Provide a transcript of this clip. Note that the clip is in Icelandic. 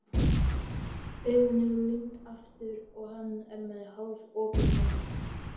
Augun eru límd aftur og hann er með hálfopinn munninn.